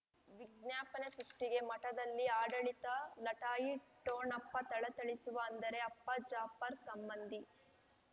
ವಿಜ್ಞಾಪನೆ ಸೃಷ್ಟಿಗೆ ಮಠದಲ್ಲಿ ಆಡಳಿತ ಲಟಾಯಿ ಠೋಣಪ ಥಳಥಳಿಸುವ ಅಂದರೆ ಅಪ್ಪ ಜಾಫರ್ ಸಂಬಂಧಿ